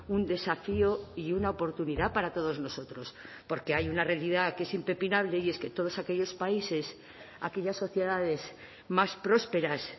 un desafío y una oportunidad para todos nosotros porque hay una realidad que es impepinable y es que todos aquellos países aquellas sociedades más prósperas